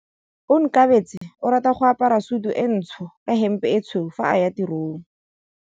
Onkabetse o rata go apara sutu e ntsho ka hempe e tshweu fa a ya tirong.